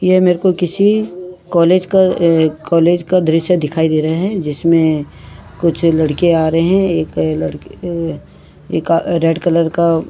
ये मेरको किसी कॉलेज का कॉलेज का दृश्य दिखाई दे रहा है जिसमें कुछ लड़के आ रहें हैं अ एक लड़की एक रेड कलर का --